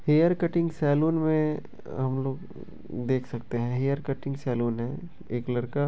hair cutting salon मे हमलोग देख सकते हैं हेयर कटिंग सैलून हैं एक लड़का --